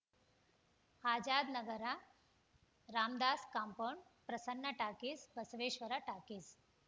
Azadnagar Ramdas compound Prasanna talkies Basaveshwara talkies